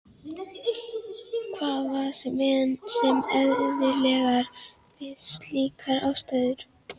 Og hvað var svo sem eðlilegra við slíkar aðstæður?